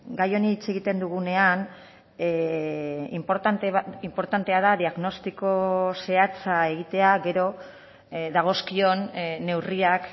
gai honi hitz egiten dugunean inportantea da diagnostiko zehatza egitea gero dagozkion neurriak